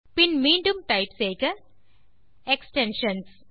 பின் மீண்டும் டைப் செய்க எக்ஸ்டென்ஷன்ஸ்